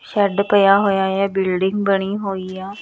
Shed ਪਿਆ ਹੋਇਆ ਹੈ ਬਿਲਡਿੰਗ ਬਣੀ ਹੋਈ ਹੈ।